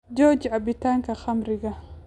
Jooji cabbitaanka khamriga